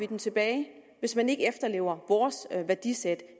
dem tilbage hvis man ikke efterlever vores værdisæt